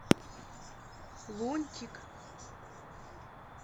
лунтик